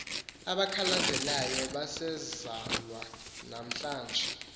abakhalazayo basezalwa nanamhl